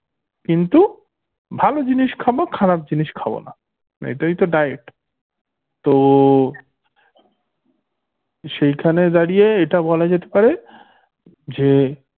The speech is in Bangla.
কিন্তু ভালো জিনিস খাবো খারাপ জিনিস খাবো না মানে এইটাই তো diet তো সেখানে দাঁড়িয়ে এটা বলা যেতে পারে যে